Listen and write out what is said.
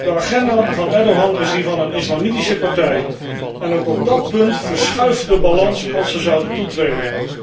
De agenda van Erdoğan is die van een islamitische partij en ook op dat punt verschuift de balans als ze zouden toetreden.